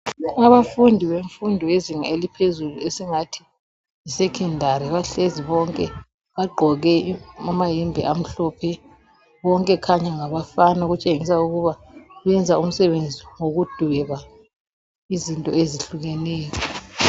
Abafundi bemfundo yezinga eliphezulu esingathi yisecondary bahlezi bonke. Bagqoke amayembe amhlophe bonke okhanya ngabafana okutshengisa ukuba benza umsebenzi wokudweba izinto ezihlukeneyo.